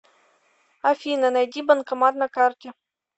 афина найди банкомат на карте